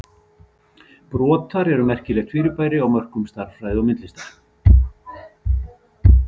Brotar eru merkilegt fyrirbæri á mörkum stærðfræði og myndlistar.